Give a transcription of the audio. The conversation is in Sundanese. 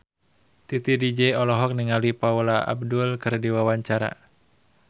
Titi DJ olohok ningali Paula Abdul keur diwawancara